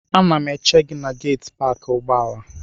Ana m eche gị na geetị paakị ụgbọala.